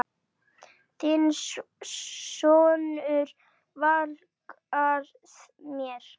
Þinn sonur, Valgarð Már.